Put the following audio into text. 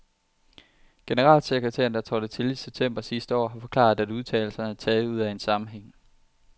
Generalsekretæren, der trådte til i september sidste år, har forklaret, at udtalelserne er taget ud af en sammenhæng.